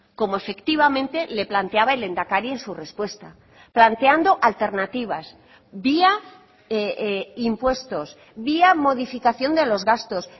como efectivamente le planteaba el lehendakari en su respuesta planteando alternativas vía impuestos vía modificación de los gastos